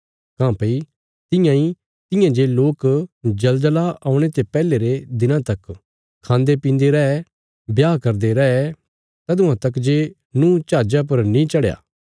काँह्भई तियां इ तियां जे लोक जलजला औणे ते पैहले रे दिनां तक खान्देपीन्दे रै ब्याह करदे रैये तदुआं तक जे नूँह जहाजा पर नीं चढ़या